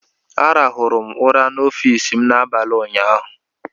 Ararụrụ m ụra n'ọfiisi m n'abalị ụnyaahụ.